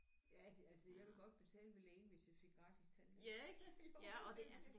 Ja det altså jeg ville godt betale ved lægen hvis jeg fik gratis tandlæge jo